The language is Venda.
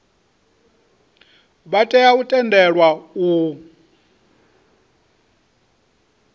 vha tea u tendelwa u